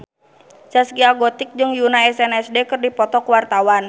Zaskia Gotik jeung Yoona SNSD keur dipoto ku wartawan